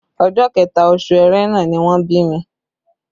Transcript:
Ọjọ́ kẹta, oṣù Ẹrẹ́nà ni wọ́n bí mi